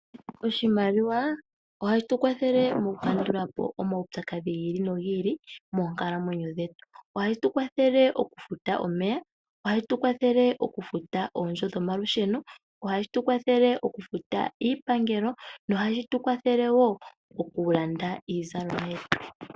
Oshimaliwa ohashi tu kwathele mokukandula po omaupyakadhi gi ili nogi ili moonkalamwenyo dhetu. Ohashi tu kwathele okufuta omeya, ohashi tu kwathele okufuta oondjo dhomalusheno, ohashi tu kwathele okufuta iipangelo nohashi tu kwathele wo okulanda iizalomwa yetu.